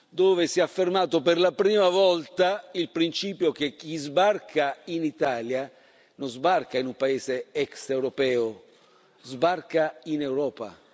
dove si è affermato per la prima volta il principio che chi sbarca in Italia non sbarca in un paese extraeuropeo, sbarca in Europa.